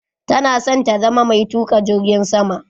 Tana son ta zama mai tuka jirgin sama.